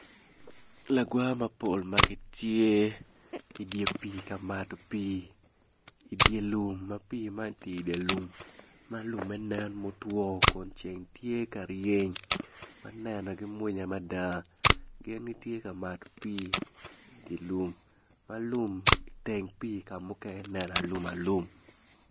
Lagwa mapol ma gitye ka mato pii i dye lum ma pii man tye i dye lum ma lumme nen mutwo kun ceng tye ka ryeny ma nenogi mwonya mada gin gitye ka mato pii i dye lum ma lum teng pii ka mukene nen alum alum.